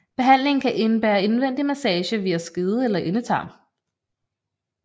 Behandlingen kan indebære indvendig massage via skede eller endetarm